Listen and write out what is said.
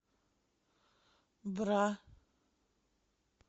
бра